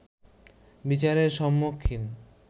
বিচারের সম্মুখীন